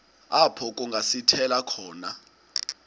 apho kungasithela khona